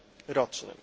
rocznym.